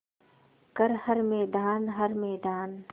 कर हर मैदान हर मैदान